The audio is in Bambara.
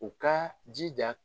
U ka jija